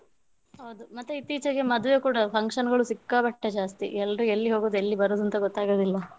ಹೌದು ಮತ್ತೆ ಇತ್ತೀಚಿಗೆ ಮದುವೆ ಕೂಡ function ಗಳು ಸಿಕ್ಕಾಪಟ್ಟೆ ಜಾಸ್ತಿ ಎಲ್ರೂ ಎಲ್ಲಿ ಹೋಗೋದು ಎಲ್ಲಿ ಬರೋದು ಅಂತ ಗೊತ್ತಾಗುದಿಲ್ಲ.